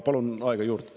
Palun aega juurde.